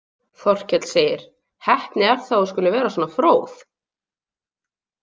Þorkell segir: „Heppni er það að þú skulir vera svo fróð“